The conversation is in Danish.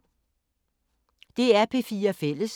DR P4 Fælles